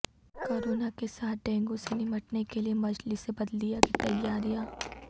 corona کے ساتھ dengue سے نمٹنے کیلئے مجلس بلدیہ کی تیاریاں